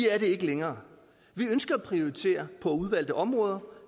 er det ikke længere vi ønsker at prioritere på udvalgte områder og